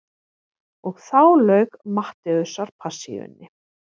Og þá lauk Mattheusarpassíunni.